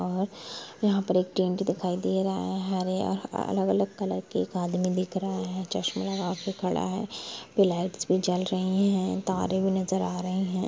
और यहा पे एक टेंट दिखाई दे रहा है| हरे अलग अलग कलर का और एक आदमी दिख रहा है| चश्मे लगा के खड़ा है| लाइटस भी जल रही है तारे भी नजर आ रहे है ।